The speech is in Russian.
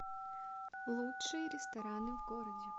лучшие рестораны в городе